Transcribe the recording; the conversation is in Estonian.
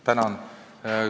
Tänan!